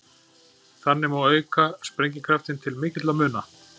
Þannig má auka sprengikraftinn til mikilla muna.